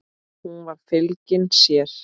Hún var fylgin sér.